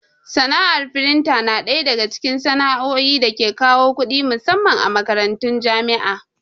Sana'ar frintin na ɗaya daga cikin sana'o'i da ke kawo kuɗi musamman a makarantun jami'a.